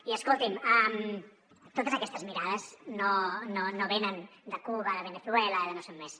i escolti’m totes aquestes mirades no venen de cuba de veneçuela o de no sé on més